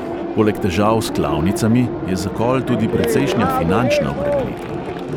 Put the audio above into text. Poleg težav s klavnicami je zakol tudi precejšnja finančna obremenitev.